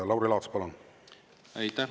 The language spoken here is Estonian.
Lauri Laats, palun!